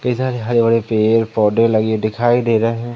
इधर हरे भरे पेड़ पौधे लगे दिखाई दे रहे--